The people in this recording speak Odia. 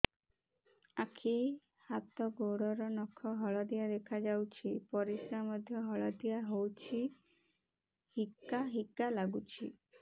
ଆଖି ହାତ ଗୋଡ଼ର ନଖ ହଳଦିଆ ଦେଖା ଯାଉଛି ପରିସ୍ରା ମଧ୍ୟ ହଳଦିଆ ହଉଛି ହିକା ହିକା ଲାଗୁଛି